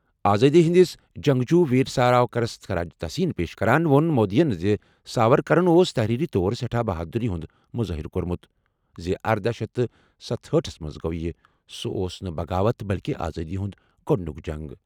آزٲدی ہِنٛدِس جنٛگجوٗ ویر ساورکرَس خراج تحسین پیش کران ووٚن مودیَن زِ ساورکرَن اوس تحریری طور سٮ۪ٹھاہ بہادُری ہُنٛد مظٲہرٕ کوٚرمُت زِ اردہَ شیتھ تہٕ ستشیٖتھ ہَس منٛز یہِ گوٚو سُہ اوس نہٕ بغاوت بلکہِ آزٲدی ہُنٛد گۄڈٕنیک جنگ۔